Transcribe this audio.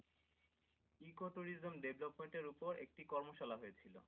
Ecotourism development এর ওপর একটি কর্ম শালা হয়েছিল।